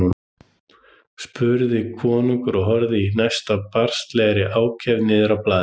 spurði konungur og horfði í næstum barnslegri ákefð niður á blaðið.